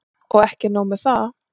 Og ekki er nóg með það.